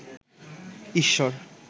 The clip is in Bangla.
ঈশ্বর